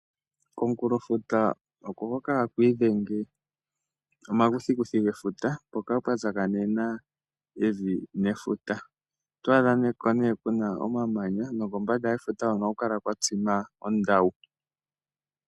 Komukulofuta oko hoka haku idhenge omakuthikuthi gefuta mpoka pwa tsakanena evi nefuta. Oto adha ko nee ku na omamanya nokombanda yefuta hono ohaku kala kwa tsima ondawu.